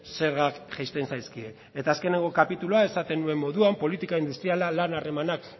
zergak jaisten zaizkie eta azkenengo kapitulua esaten nuen moduan politika industriala lan harremanak